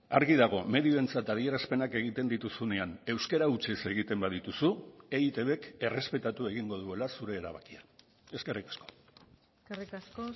argi dago medioentzat adierazpenak egiten dituzunean euskara hutsez egiten badituzu eitbk errespetatu egingo duela zure erabakia eskerrik asko eskerrik asko